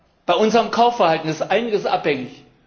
Von unserem Kaufverhalten ist einiges abhängig.